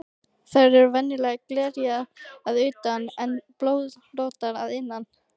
Þær eru venjulega glerjaðar að utan en blöðróttar að innan.